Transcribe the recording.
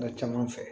Ka caman fɛ